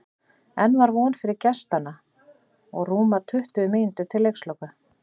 Enn var von fyrir gestanna og rúmar tuttugu mínútur til leiksloka.